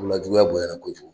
juguya bonya na kojugu